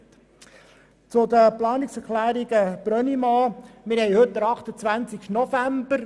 Zu den Planungserklärungen Brönnimann: Heute ist der 28. November.